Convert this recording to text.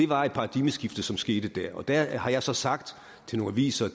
var et paradigmeskifte som skete der og der har jeg så sagt til nogle aviser